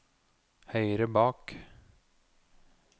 høyre bak